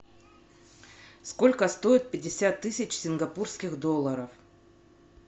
сколько стоит пятьдесят тысяч сингапурских долларов